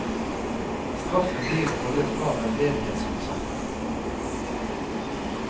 Straffen blir å holde et par veldedighetskonserter.